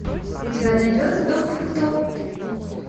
у тебя найдется доктор кто